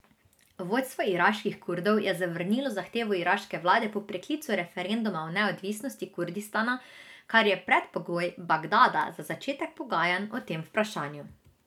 Vodstvo iraških Kurdov je zavrnilo zahtevo iraške vlade po preklicu referenduma o neodvisnosti Kurdistana, kar je predpogoj Bagdada za začetek pogajanj o tem vprašanju.